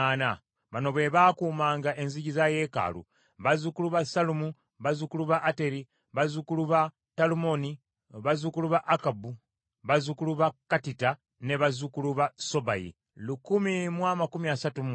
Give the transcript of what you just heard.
Bano be baakuumanga enzigi za yeekaalu: bazzukulu ba Sallumu, bazzukulu ba Ateri, bazzukulu ba Talumoni, bazzukulu ba Akkubu, bazzukulu ba Katita, ne bazzukulu ba Sobayi kikumi mu amakumi asatu mu mwenda (139).